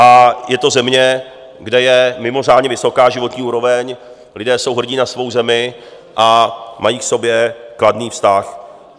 A je to země, kde je mimořádně vysoká životní úroveň, lidé jsou hrdí na svou zemi a mají k sobě kladný vztah.